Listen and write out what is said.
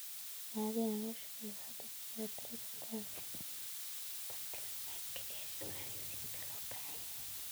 Caadiyan, loo-shaqeeyuhu wuxuu dejiyaa tirada bartilmaameedka ee shaqaaleysiinta loo baahan yahay.